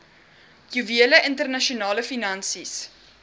juwele internasionale finansies